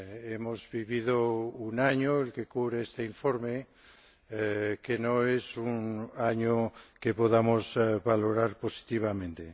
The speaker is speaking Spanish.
Hemos vivido un año —el que cubre este informe— que no es un año que podamos valorar positivamente.